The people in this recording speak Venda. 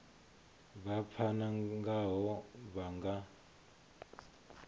vha pfana ngaho vha nga